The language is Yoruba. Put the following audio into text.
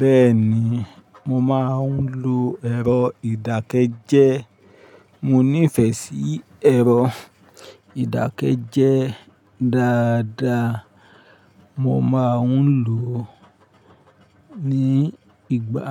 Bẹ́ẹ̀ni, mo máa ń lo ẹ̀rọ ìdákẹ́jẹ́. Mo nífẹ̀ẹ́ sí ẹ̀rọ ìdákẹ́jẹ́ dáadáa. Mo ma ń lò ó nígbà